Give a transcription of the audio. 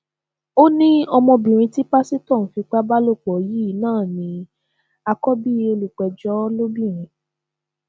ó ní ọmọbìnrin tí pásítọ ń fipá bá lò pọ yìí náà ní àkọbí olùpẹjọ lóbìnrin